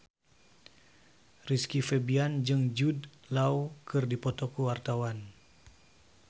Rizky Febian jeung Jude Law keur dipoto ku wartawan